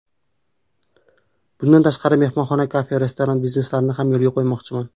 Bundan tashqari mehmonxona, kafe, restoran bizneslarini ham yo‘lga qo‘ymoqchiman.